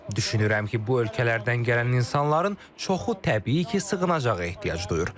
Düşünürəm ki, bu ölkələrdən gələn insanların çoxu təbii ki, sığınacağa ehtiyac duyur.